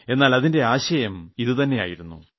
എന്നാൽ അതിന്റെ ആശയം ഇതുതന്നെ ആയിരുന്നു